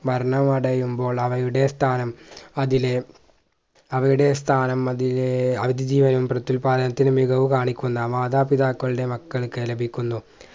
വർണ്ണവടയുമ്പോൾ അവയുടെ സ്ഥാനം അതിലെ അവയുടെ സ്ഥാനം അതിലെ അതിജീവനും പ്രത്യുൽപാദനത്തിൽ മികവ് കാണിക്കുന്ന മാതാപിതാക്കളുടെ മക്കൾക്ക് ലഭിക്കുന്നു